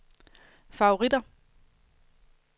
favoritter